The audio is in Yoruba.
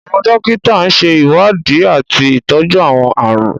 Àwọn dòkíta ṣe iwdíì atí ìtọju àwọn ààrùn.